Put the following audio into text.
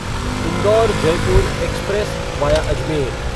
Indore Jaipur express via Ajmer